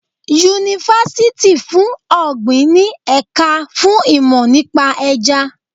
Yunifásítì fún ọ̀gbìn ní ẹ̀ka fún ìmò nípa Ẹja.